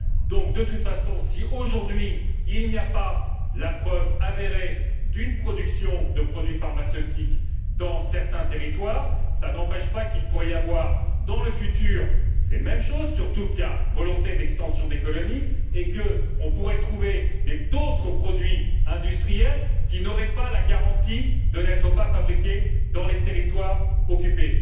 Donc, de toute façon si, aujourd'hui, il n'y a pas la preuve avérée d'une production de produits pharmaceutiques dans certains territoires, cela n'empêche pas que le cas pourrait se présenter dans l'avenir, surtout qu'il y a volonté d'extension des colonies, et qu'on pourrait trouver d'autres produits industriels qui n'offriraient pas la garantie de n'être pas fabriqués dans les territoires occupés.